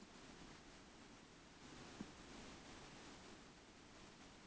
Var skáldinu mikið niðrifyrir og sparaði ekki stór orð eða neyðarlegar athugasemdir.